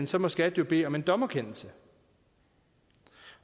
så må skat jo bede om en dommerkendelse